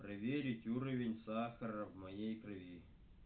проверить уровень сахара в моей крови